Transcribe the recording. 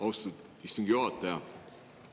Austatud istungi juhataja!